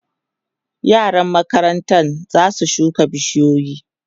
yaran makarantan zasu shuka bishiyoyi